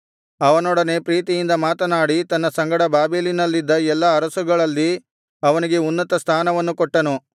ಅವನೊಡನೆ ಪ್ರೀತಿಯಿಂದ ಮಾತನಾಡಿ ತನ್ನ ಸಂಗಡ ಬಾಬೆಲಿನಲ್ಲಿದ್ದ ಎಲ್ಲಾ ಅರಸುಗಳಲ್ಲಿ ಅವನಿಗೆ ಉನ್ನತ ಸ್ಥಾನವನ್ನು ಕೊಟ್ಟನು